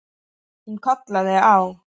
Hún kallaði á